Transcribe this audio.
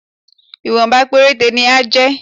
Ìwọ̀nba péréte ni á jẹ́